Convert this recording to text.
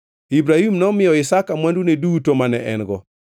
Ibrahim nomiyo Isaka mwandune duto mane en-go.